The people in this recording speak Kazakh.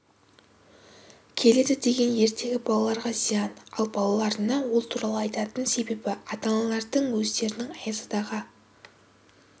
келеді деген ертегі балаларға зиян ал балаларына ол туралы айтатын себебі ата-аналардың өздерінің аяз атаға